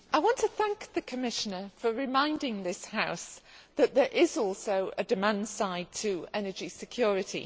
Mr President, I want to thank the Commissioner for reminding this House that there is also a demand side to energy security.